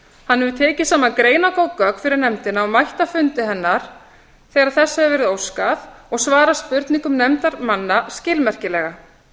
hefur tekið saman greinargóð gögn fyrir nefndina og mætt á fundi hennar þegar þess hefur verið óskað og svarað spurningum nefndarmanna skilmerkilega